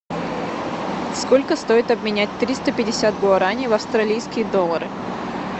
сколько стоит обменять триста пятьдесят гуарани в австралийские доллары